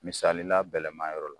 Misali la bɛlɛma yɔrɔ la.